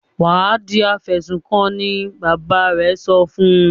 "Wà á di afẹ̀sùnkanni!" Bàbá rẹ̀ sọ fún un.